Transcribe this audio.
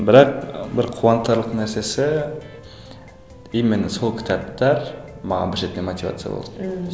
бірақ бір қуантарлық нәрсесі именно сол кітаптар маған бір жерде мотивация